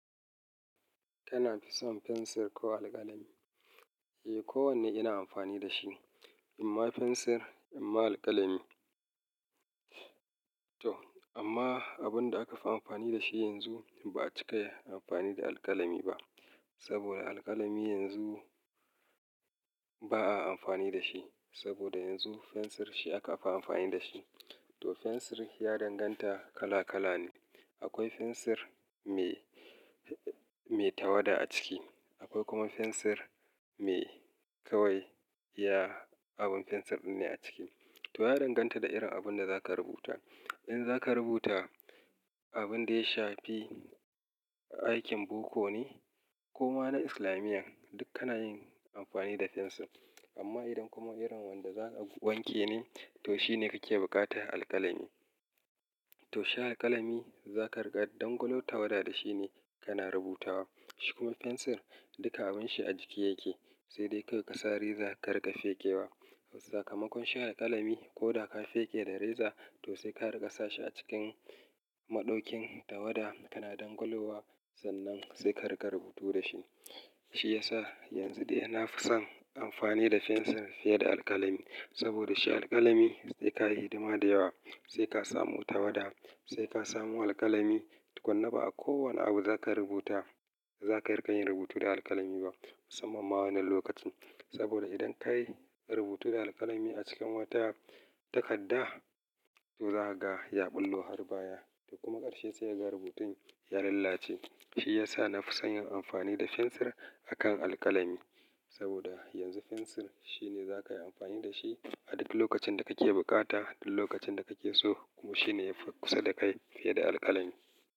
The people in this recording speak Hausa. Kana fi son fensir ko alkalami? Eh, kowanne ina amfani da shi, imma fensir, imma alkalami. To amma abun da aka fi amfani da shi yanzu, ba a cika amfani da alkalami ba. Saboda alkalami yanzu ba a amfani da shi. Saboda yanzu fensir shi aka fi amfani da shi. To fensir ya danganta kala kala ne. Akwai fensir mai, mai tawada a ciki, akwai kuma fensir mai kawai iya abin fensir ɗin ne a ciki. To ya danganta da irin abun da za ka rubuta. In za ka rubuta abun da ya shafi aikin boko ne ko ma na Islamiyan, duk kana yin amfani da fensir. Amma idan kuma irin wanda za'a wanke ne, to shine kake bukata alkalami. To shi alkalami za ka riƙa dangwalo tawada da shi ne kana rubutawa. Shi kuma fensir duka abun shi a jiki yake, sai dai kawai ka sa reza ka riƙa fekewa. Sakamakon shi alkalami ko da ka feke da reza to sai ka riƙa sashi a cikin maɗokin tawada kana dangolowa, sannan sai ka riƙa rubutu da shi. Shi ya sa yanzu dai na fi son amfani da fensir fiye da alkalami. Saboda shi alkalami sai ka yi hidima da yawa, sai ka samu tawada, sai ka samu alkalami. Tukunna ba a kowani abu za ka rubuta, za ka riƙa yin rubutu da alkalami ba, musamman ma wannan lokacin. Saboda idan ka yi rubutu da alkalami a cikin wata takadda, to za ka ga ya ɓullo har baya. Kuma ƙarshe sai ka ga rubutun ya lalace. Shi ya sa na fi son yin amfani da fensir a kan alkalami. Saboda yanzu fensir shi ne za ka yi amfani da shi a duk lokacin da kake bukata duk lokacin da kake so kuma shi ne ya fi kusa da kai fiye da alkalami.